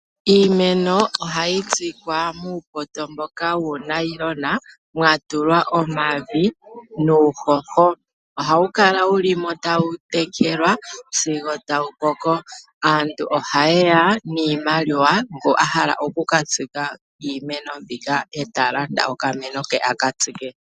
Iimeno ohayi kunwa muupoto mboka wuunayilona mwa tulwa omavi nuuhoho. Ohawu kala wu li mo tawu tekelwa sigo tawu koko. Aantu ohaye ya niimaliwa ngu a hala oku ka tsika uumeno mbika ta landa okameno ke a ka tsike.